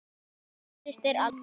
Þín systir, Aldís.